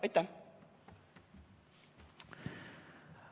Aitäh!